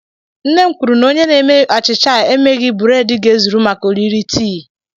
Nne m kwuru na onye na-eme achicha e meghi burédi ga-ezuru maka oriri tii